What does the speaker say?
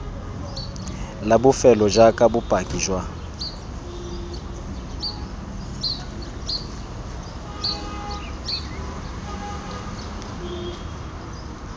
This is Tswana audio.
la bofelo jaaka bopaki jwa